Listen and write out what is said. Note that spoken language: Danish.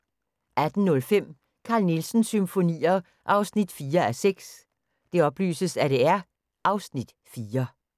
18:05: Carl Nielsens Symfonier 4:6 (Afs. 4)